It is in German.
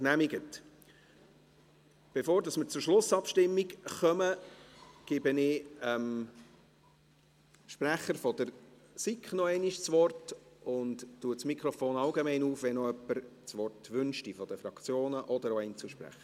Bevor wir zur Schlussabstimmung kommen, gebe ich dem Sprecher der SiK noch einmal das Wort und öffne das Mikrofon allgemein, falls noch jemand das Wort wünscht von den Fraktionen oder auch Einzelsprecher.